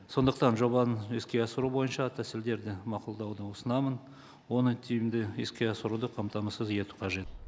сондықтан жобаны іске асыру бойынша тәсілдерді мақұлдауды ұсынамын оны тиімді іске асыруды қамтамасыз ету қажет